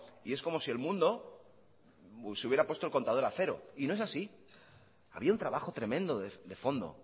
y es como si el mundo se hubiera puesto el contador a cero y no es así había un trabajo tremendo de fondo